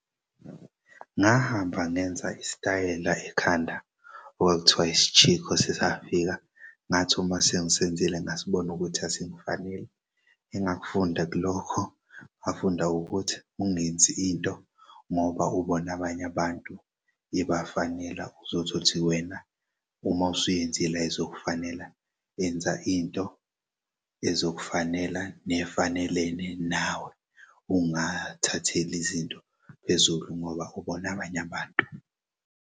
Ngahamba ngenza isitayela ekhanda okwakuthiwa ischikho sisafika ngathi uma sengisenzile ngasibona ukuthi asingifaneli engakufunda kulokho ngafunda ukuthi ungenzi into ngoba ubona abanye abantu ibafanela uzozuthi wena uma usuyenzile ayizokufanela. Enza into ezokufonela nefanelene nawe ungathatheli izinto phezulu ngoba ubona abany'abantu.